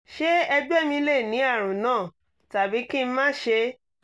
ṣé ẹ̀gbẹ́ mi lè ní àrùn náà tàbí kí n má ṣe